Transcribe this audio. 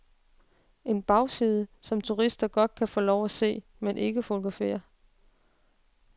En bagside, som turister godt kan få lov at se, men ikke fotografere.